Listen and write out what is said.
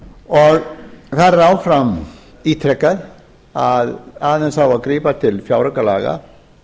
fyrir þar er áfram ítrekað að aðeins á að bíða til fjáraukalaga